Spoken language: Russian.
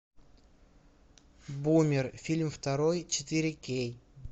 бумер фильм второй четыре кей